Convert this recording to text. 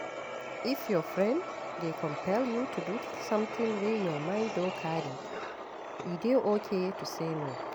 If your friend dey compel you to do something wey your mind no carry, e dey okay to say no